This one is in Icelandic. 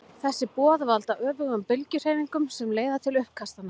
Þessi boð valda öfugum bylgjuhreyfingunum sem leiða til uppkastanna.